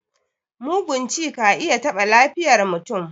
Mugun ci ka iya taɓa lafiyar mutum.